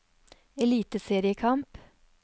eliteseriekamp